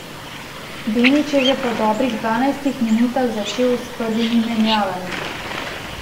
Denič je že po dobrih dvanajstih minutah začel s prvimi menjavami.